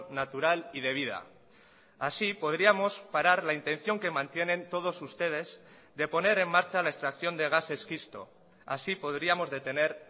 natural y de vida así podríamos parar la intención que mantienen todos ustedes de poner en marcha la extracción de gas esquisto así podríamos detener